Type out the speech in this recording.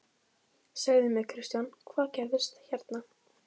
Segðu mér Kristján, hvað gerðist hérna?